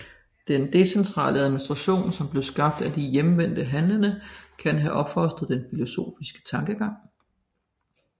Den decentrale administration som blev skabt af de hjemvendte handlende kan have opfostret den filosofiske tankegang